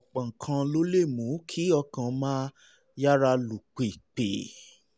ọ̀pọ̀ nǹkan ló lè mú kí ọkàn máa yára lù pìpì